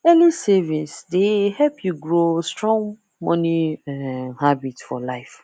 early savings dey help you grow strong money um habit for life